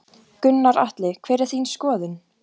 Gunnar Atli: Hver er þín skoðun?